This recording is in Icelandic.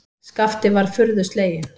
Skapti var furðu sleginn.